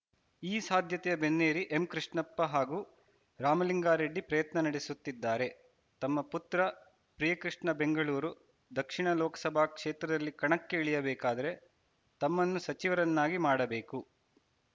ಈ ಸಾಧ್ಯತೆಯ ಬೆನ್ನೇರಿ ಎಂಕೃಷ್ಣಪ್ಪ ಹಾಗೂ ರಾಮಲಿಂಗಾರೆಡ್ಡಿ ಪ್ರಯತ್ನ ನಡೆಸುತ್ತಿದ್ದಾರೆ ತಮ್ಮ ಪುತ್ರ ಪ್ರಿಯಕೃಷ್ಣ ಬೆಂಗಳೂರು ದಕ್ಷಿಣ ಲೋಕಸಭಾ ಕ್ಷೇತ್ರದಲ್ಲಿ ಕಣಕ್ಕೆ ಇಳಿಯಬೇಕಾದರೆ ತಮ್ಮನ್ನು ಸಚಿವರನ್ನಾಗಿ ಮಾಡಬೇಕು